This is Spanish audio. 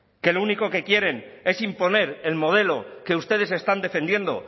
que lo único que quieren es imponer el modelo que ustedes están defendiendo